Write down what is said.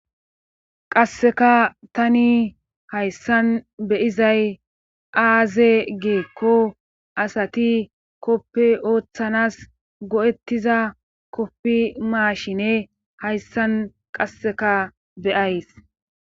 qasseka tani hayssan beyizay aaze geekko asati koppe ooththanas go7ettiza koppi maashine hayssan qasseka beyays